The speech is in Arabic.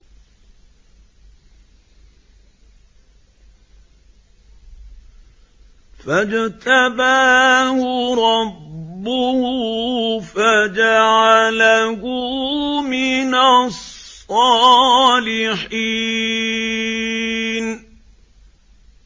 فَاجْتَبَاهُ رَبُّهُ فَجَعَلَهُ مِنَ الصَّالِحِينَ